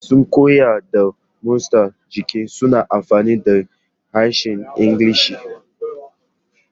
Masu koyar da motsa jiki suna amfani da harshen Ingilishi.